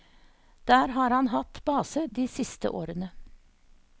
Der har han hatt base de siste årene.